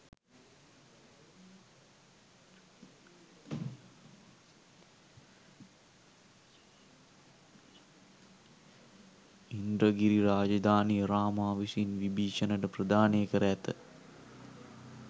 ඉන්ද්‍රගිරි රාජධානිය රාමා විසින් විභිශණට ප්‍රධානය කර ඇත